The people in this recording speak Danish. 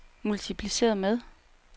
multipliceret med